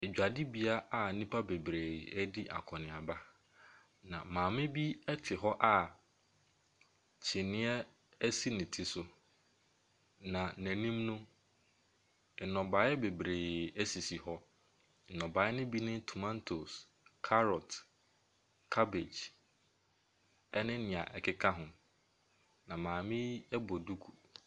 Edwadibea a nipa bebree ɛredi akɔneaba na maame bi ɛte hɔ a kyiniiɛ esi ne tiri so na ne nim no, ɛnobaeɛ bebree esisi hɔ. Nnɔbaeɛ no bi ne tomantos, carrot, cabbage ɛne nea ɛkeka hɔ. Na maame yi ɛbɔ duku.